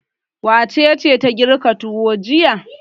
Wace ce ta girka tuwo jiya?